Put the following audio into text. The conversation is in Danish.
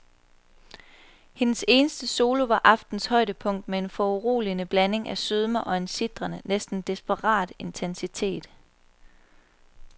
Hendes eneste solo var aftenens højdepunkt med en foruroligende blanding af sødme og en sitrende, næsten desperat intensitet.